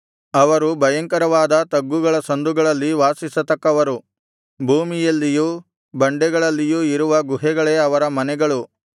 ಅವರು ಭಯಂಕರವಾದ ತಗ್ಗುಗಳ ಸಂದುಗಳಲ್ಲಿ ವಾಸಿಸತಕ್ಕವರು ಭೂಮಿಯಲ್ಲಿಯೂ ಬಂಡೆಗಳಲ್ಲಿಯೂ ಇರುವ ಗುಹೆಗಳೇ ಅವರ ಮನೆಗಳು